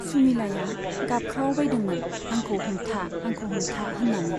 सुमिलाया गाबख्रावबायदोंमोन, आंखौ हमथा , आंखौ हमथा होननानै।